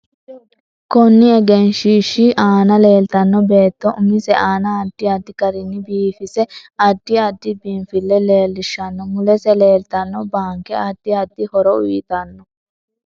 Konni egenshiishsi aana leeltanno beeto umise aana addi addi garinni biifise addi addi biinfile leelishanno mulesi leeltanno baanke addi addi horo uyiitanno